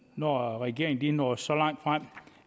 når regeringen er nået så langt frem